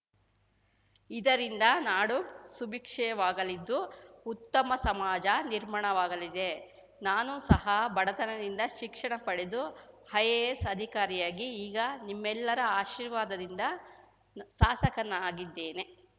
ಇದರಿಂದ ನಾಡು ಸುಭಿಕ್ಷವಾಗಲಿದ್ದು ಉತ್ತಮ ಸಮಾಜ ನಿರ್ಮಾಣವಾಗಲಿದೆ ನಾನೂ ಸಹ ಬಡತನದಿಂದ ಶಿಕ್ಷಣ ಪಡೆದು ಐಎಎಸ್ ಅಧಿಕಾರಿಯಾಗಿ ಈಗ ನಿಮ್ಮೆಲ್ಲರ ಆಶೀರ್ವಾದದಿಂದ ಸಾಸಕನಾಗಿದ್ದೇನೆ